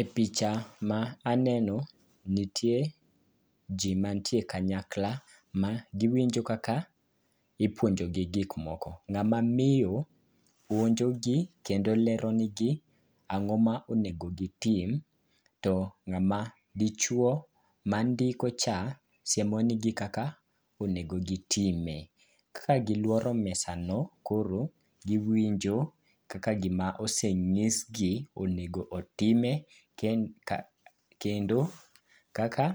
E picha ma aneno nitie ji mantie kanyakla ma giwinjo kaka ipuonjogi gikmoko. Ng'ama miyo puonjogi kendo leronigi ang'o ma onego gitim, to ng'ama dichuwo mandiko cha siemo nigi kaka onego gitime. Kagiluoro mesano, koro giwinjo kaka gima oseng'isgi, onego otime, kendo, kaka